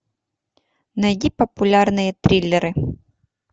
найди популярные триллеры